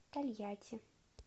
тольятти